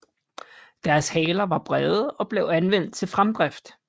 Deres haler var brede og blev anvendt til fremdrift